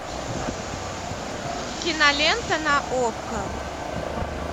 кинолента на окко